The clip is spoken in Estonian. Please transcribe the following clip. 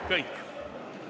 Kõik.